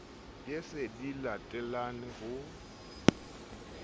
ye di se latelane ho